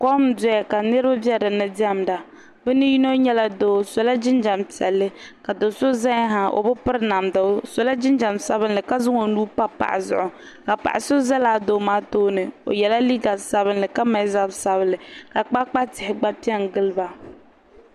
kom n-dɔya ka niriba be di ni diɛmda bɛ ni yino nyɛla doo o sɔla jinjam piɛlli ka do' so zaya ha o bi piri namda o sɔla jinjam sabilinli ka zaŋ o nuu pa paɣa zuɣu ka paɣa so za lala doo maa tooni o yɛla liiga sabilinli ka mali zab' sabilinli ka kpaakpa tihi gba pe n-gili ba